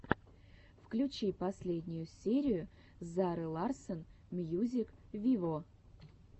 включи последнюю серию зары ларсон мьюзик виво